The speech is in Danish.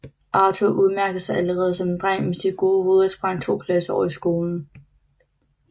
Arthur udmærkede sig allerede som dreng med sit gode hoved og sprang to klasser over i skolen